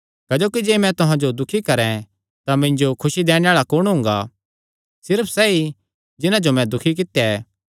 क्जोकि जे मैं तुहां जो दुखी करैं तां मिन्जो खुसी दैणे आल़ा कुण हुंगा सिर्फ सैई जिन्हां जो मैं दुखी कित्या